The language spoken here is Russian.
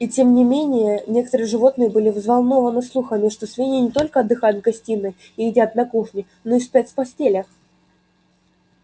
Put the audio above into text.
и тем не менее некоторые животные были взволнованы слухами что свиньи не только отдыхают в гостиной и едят на кухне но и спят в постелях